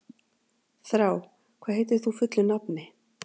Þrá, hvað heitir þú fullu nafni?